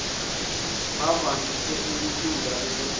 bebevamise ukucula esontweni